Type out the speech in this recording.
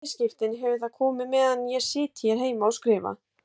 Í bæði skiptin hefur það komið meðan ég sit hér heima og skrifa.